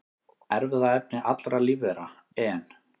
Erfðaefni allra lífvera, en